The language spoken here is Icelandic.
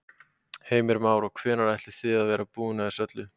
Heimir Már: Og hvenær ætlið þið að vera búnir að þessu öllu?